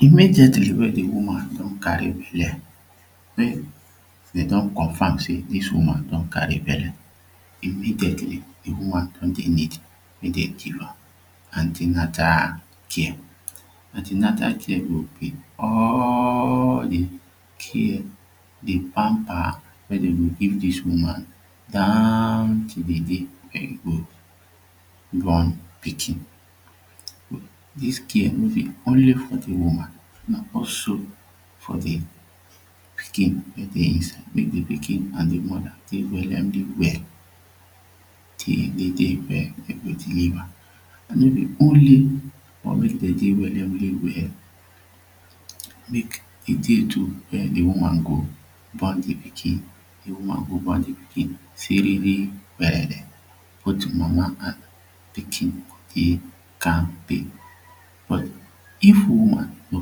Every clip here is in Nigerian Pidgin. Immediately when de woman don carry belle um dey don confirm say dis woman don carry belle immediately de woman don dey need make dem give her an ten atal care. An ten atal care go be all de care de pamper wey dem go give dis woman down to dey day wey e go born pikin dis care no be only for de woman but also for de pikin wey dey inside make de pikin and de mother take dey very well till de day wey e go deliver de only want make dem dey wellingly well make a day to where de woman go born de pikin de woman go born de pikin siriri werewe both mama and pikin go dey kampe but if woman no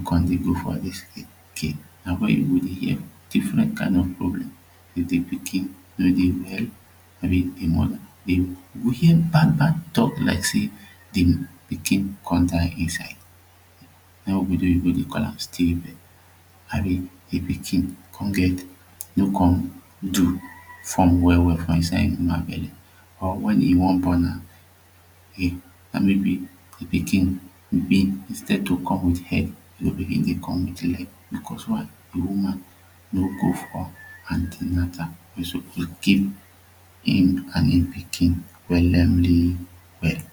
come dey go for dis tin na where you go hear different kind of problem with de pikin and moda de you go hear bad bad talk like say de pikin come die inside na him ogbodoyibo dey call am still birth abi de pikin come get no come do form well well for inside de woman belle or wen e wan born am e maybe or maybe de pikin instead to come with head e go begin dey fine wit leg na cause why de woman no go for an ten atal wey suppose keep him and him pikin wellingly well